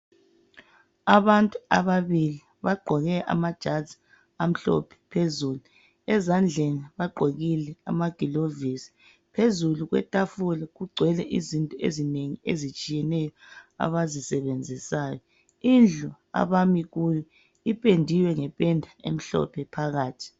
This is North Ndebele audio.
Abantu ababili bagqoke amajazi amhlophe phezulu. Ezandleni bagqokile amagilovisi. Phezulu kwetafula kugcwele izinto ezinengi ezitshiyeneyo abazisebenzisayo. Indlu abami kuyo ipendiwe ngependa emhlophe phakathi.